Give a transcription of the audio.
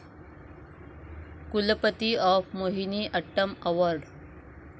कुलपती of Mohiniyattam award